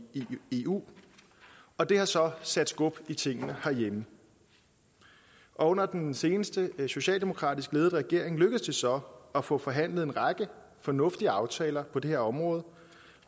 eu og det har så sat skub i tingene herhjemme og under den seneste socialdemokratisk ledede regering lykkedes det så at få forhandlet en række fornuftige aftaler på på det her område